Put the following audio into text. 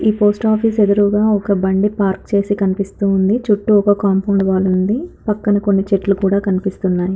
ఈ post office ఎదురుగ ఒక బండి పార్క్ చేసి కనిపిస్తూ ఉంది. చుట్టూ ఒక కాంపౌండ్ వాల్ ఉంది పక్కన కొన్ని చెట్లు కూడా కనిపిస్తూ ఉన్నాయి.